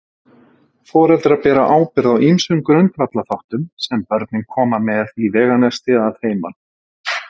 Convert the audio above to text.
Foreldrar bera ábyrgð á ýmsum grundvallarþáttum sem börnin koma með í veganesti að heiman.